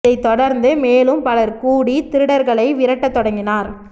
இதை தொடர்ந்து மேலும் பலர் கூடி திருடர்களை விரட்ட தொடங்கினர்